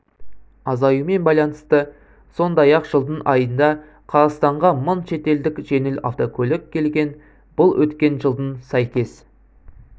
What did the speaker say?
азаюымен байланысты сондай-ақ жылдың айында қазақстанға мың шетелдік жеңіл автокөлік келген бұл өткен жылдың сәйкес